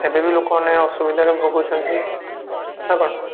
ଏବେ ବି ଲୋକମାନେ ଅସୁବିଧାରେ ଭୋଗୁଛନ୍ତି ନା କଣ?